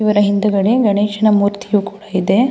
ಇವರ ಹಿಂದುಗಡೆ ಗಣೇಶನ ಮೂರ್ತಿಯು ಕೂಡ ಇದೆ.